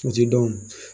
O ti dɔn